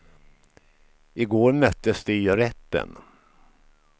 I går möttes de i rätten.